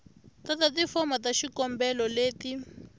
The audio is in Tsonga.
tata tifomo ta xikombelo leti